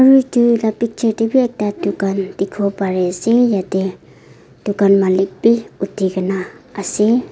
utu la picture de b ekta dukan dikibo pari ase yete dukan malik b uti kina ase.